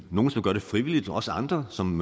nogle som gør det frivilligt og også andre som